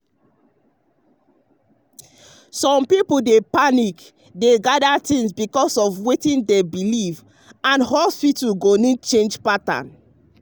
some people dey panic dey gather things because of wetin dem believe and hospitals go need change pattern.